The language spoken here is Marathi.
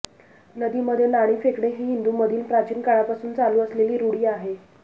नदीमध्ये नाणी फेकणे ही हिंदू मधील प्राचीन काळापासून चालू असलेली रूढी आहे